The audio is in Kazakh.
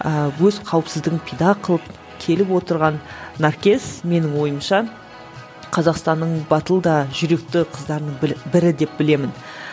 ыыы өз қауіпсіздігін пида қылып келіп отырған наркес менің ойымша қазақстанның батыл да жүректі қыздарының бірі деп білемін